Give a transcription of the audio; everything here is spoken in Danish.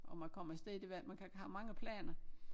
Om jeg kommer afsted det ved jeg ikke man kan have mange planer